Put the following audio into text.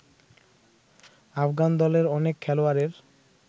আফগান দলের অনেক খেলোয়াড়ের